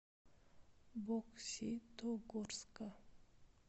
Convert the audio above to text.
бокситогорска